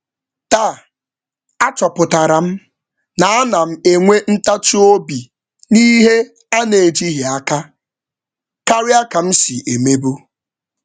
Taa m chọpụtara na m enweela ndidi karịa maka ejighị n’aka karịa ka m na-enwe.